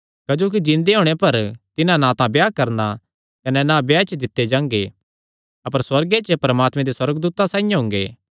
क्जोकि जिन्दे होणे पर तिन्हां ना तां ब्याह करणा कने ना ब्याह च दित्ते जांगे अपर सुअर्गे च परमात्मे दे सुअर्गदूतां साइआं हुंगे